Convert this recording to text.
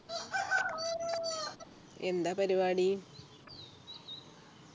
എന്താ പരിപാടി